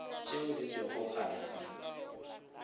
tše di lego gare ga